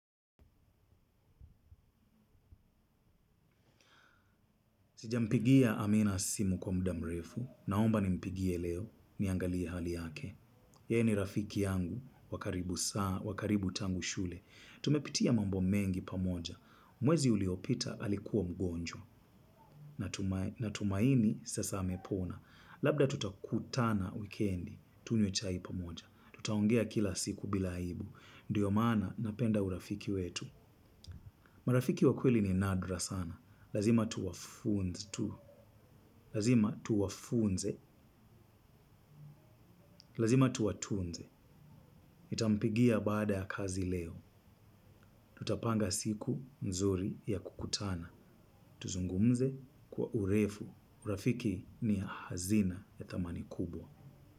Sijampigia amina simu kwa mudamrefu, naomba nimpigie leo, niangalie hali yake. Ye ni rafiki yangu, wa karibu tangu shule. Tumepitia mambo mengi pamoja, mwezi uliopita alikuwa mgonjwa, natumaini sasa amepona. Labda tutakutana wikendi, tunywe chai pamoja. Tutaongea kila siku bila aibu, ndiyo maana napenda urafiki wetu. Marafiki wa kweli ni nadra sana, lazima tuwa funds tu. Lazima tuwafunze, lazima tuwa tunze. Itampigia baada ya kazi leo. Tutapanga siku mzuri ya kukutana. Tuzungumze kwa urefu. Urafiki ni hazina ya thamani kubwa.